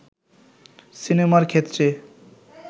সিনেমার ক্ষেত্রে